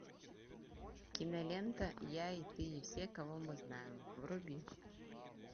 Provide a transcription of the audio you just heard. кинолента я и ты и все кого мы знаем вруби